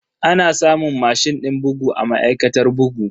Ana samun mashin din bugu a ma'aikatar bugu.